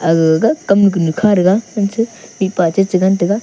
aga ga ga kam nu kunu kha thaga hancha mihpa chi chi ngan taga.